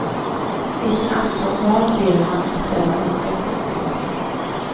I sin aftonbön ber han om att denna önskan skall uppfyllas.